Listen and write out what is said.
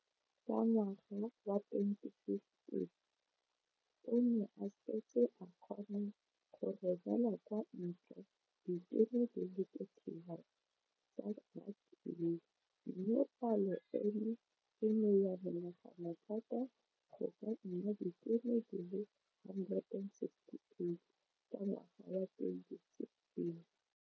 Ka ngwaga wa 2015, o ne a setse a kgona go romela kwa ntle ditone di le 31 tsa ratsuru mme palo eno e ne ya menagana thata go ka nna ditone di le 168 ka ngwaga wa 2016.